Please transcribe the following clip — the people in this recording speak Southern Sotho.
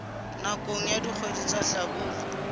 nakong ya dikgwedi tsa hlabula